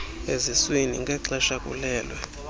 eziswini ngexesha bekhulelwe